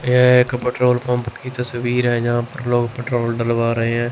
यह एक petrol pump की तसवीर है जहां पर लोग पेट्रोल डलवा रहे हैं।